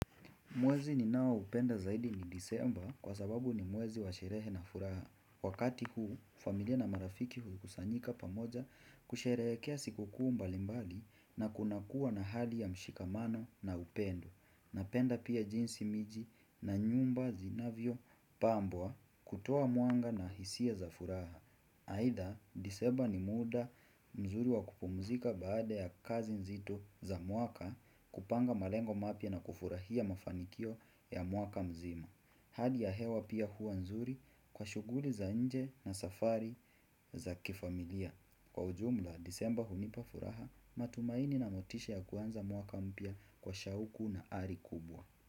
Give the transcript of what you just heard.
Mwezi ni nao upenda zaidi ni disemba kwa sababu ni mwezi wa sherehe na furaha. Wakati huu, familia na marafiki hukusanyika pamoja kusherekea siku kuu mbalimbali na kunakua na hali ya mshikamano na upendo. Napenda pia jinsi miji na nyumba zinavyo pambwa kutoa muanga na hisia za furaha. Haida, disemba ni muda mzuri wa kupumzika baada ya kazi nzito za muaka kupanga malengo mapia na kufurahia mafanikio ya muaka mzima. Hali ya hewa pia huwa nzuri kwa shuguli za nje na safari za kifamilia. Kwa ujumla, disemba hunipa furaha matumaini na motisha ya kuanza muaka mpia kwa shauku na ari kubwa.